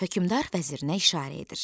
Hökmdar vəzirinə işarə edir.